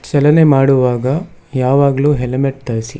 ಚಲನೆ ಮಾಡುವಾಗ ಯಾವಾಗಲೂ ಹೆಲ್ಮೆಟ್ ಧರಿಸಿ.